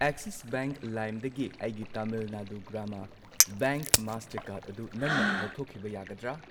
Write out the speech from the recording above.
Axis Bank ꯂꯥꯏꯝꯗꯒꯤ ꯑꯩꯒꯤ Tamil Nadu Grama Bank Mastercard ꯑꯗꯨ ꯅꯪꯅ ꯂꯧꯊꯣꯛꯈꯤꯕ ꯌꯥꯒꯗ꯭ꯔꯥ?